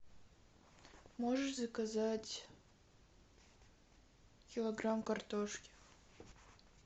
можешь заказать килограмм картошки